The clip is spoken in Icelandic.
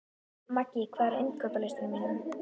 Maggý, hvað er á innkaupalistanum mínum?